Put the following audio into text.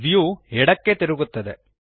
view ಎಡಕ್ಕೆ ತಿರುಗುತ್ತದೆ